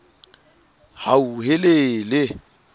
hauhelele